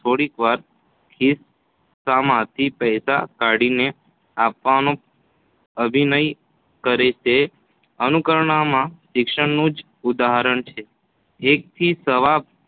થોડીવારે ખિસ્સામાંથી પૈસા કાઢીને આપવાનો અભિનય કરે તે અનુકરણા માં શિક્ષણનું જ ઉદાહરણ છે. એથી સવા